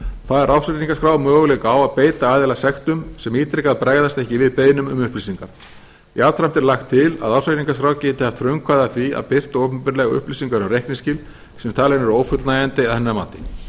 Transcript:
fær ársreikningaskrá möguleika á að beita aðila sektum sem ítrekað bregðast ekki við beiðnum um upplýsinga jafnframt er lagt til að ársreikningaskrá geti átt frumkvæði að því að birta opinberlega upplýsingar um reikningsskil sem talin eru ófullnægjandi að hennar mati